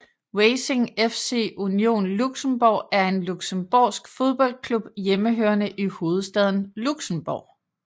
Racing FC Union Luxembourg er en luxembourgsk fodboldklub hjemmehørende i hovedstaden Luxembourg